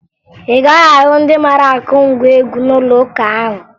Ị gaghị ahụ ndị mara akụ ngwa egwụ n'ụlọụka ahụ